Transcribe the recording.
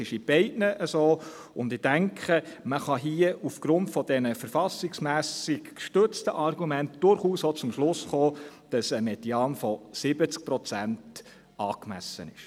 Es ist bei beiden Varianten so, und ich denke, man kann hier aufgrund dieser verfassungsmässig gestützten Argumenten durchaus auch zum Schluss kommen, dass ein Median von 70 Prozent angemessen ist.